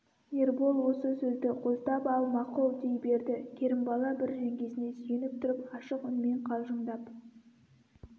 ербол осы сөзді қостап ал мақұл дей берді керімбала бір жеңгесіне сүйеніп тұрып ашық үнмен қалжыңдап